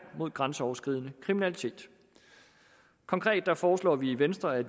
mod grænseoverskridende kriminalitet konkret foreslår vi i venstre at